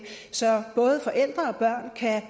så både forældre og børn kan